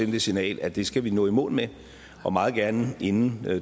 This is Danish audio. det signal at det skal vi nå i mål med og meget gerne inden